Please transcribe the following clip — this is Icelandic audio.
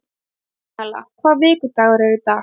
Petrúnella, hvaða vikudagur er í dag?